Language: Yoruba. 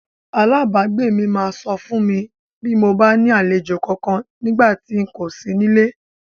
Alábàágbé mi máa sọ fún mi bí mo bá ní àlejò kankan nígbà tí n kò sí nílé.